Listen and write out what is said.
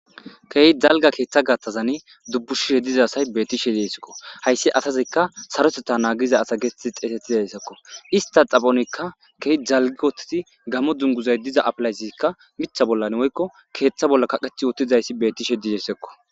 keehi jalga keeththa gatthazan dubbushishe diza asay betishe deesekko hayssi atazikka sarotetta naagiza asa geesti xeetetidahessekko ista xaphonikka keeh jalgi wotteti gamo dunguzay diza apilaysiikka mitha bollan woykko keeththa bolla kaqeth wotizayssi betishe dizersekko